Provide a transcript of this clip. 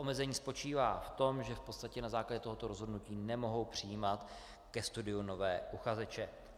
Omezení spočívá v tom, že v podstatě na základě tohoto rozhodnutí nemohou přijímat ke studiu nové uchazeče.